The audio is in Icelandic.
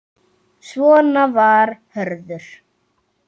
Svona var Hörður.